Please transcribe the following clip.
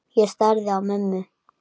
Ég starði á mömmu.